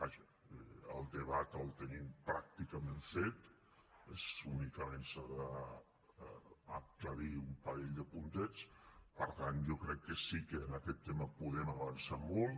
vaja el debat el tenim pràcticament fet únicament s’han d’aclarir un parell de puntets per tant jo crec que sí que en aquest tema podem avançar molt